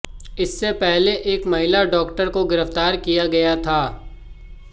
इससे पहले एक महिला डॉक्टर को गिरफ्तार किया गया था